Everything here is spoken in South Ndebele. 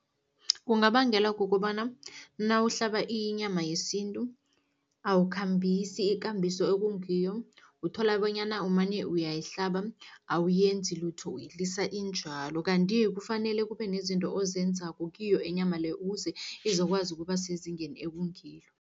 Kungabangelwa kukobana nawuhlaba inyama yesintu, awukhambisi ikambiso ekungiyo. Uthola bonyana umane uyayihlaba, awuyenzi lutho, uyilisa injalo, kanti kufanele kube nezinto ozenzako kiyo inyama le, ukuze izokwazi ukuba sezingeni ekungilo.